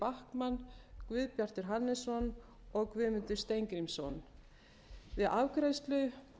þuríður backman guðbjartur hannesson og guðmundur steingrímsson við afgreiðslu